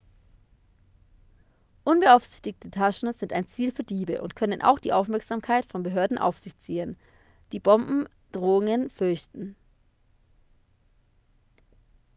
unbeaufsichtigte taschen sind ein ziel für diebe und können auch die aufmerksamkeit von behörden auf sich ziehen die bombendrohungen fürchten